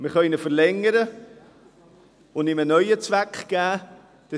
Wir können ihn verlängern und ihm einen neuen Zweck geben.